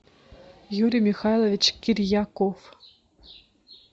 юрий михайлович кирьяков